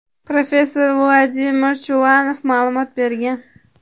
professor Vladimir Chulanov ma’lumot bergan.